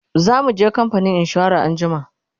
zamuje kamfanin insura anjima